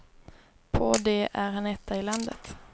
På det är han etta i landet.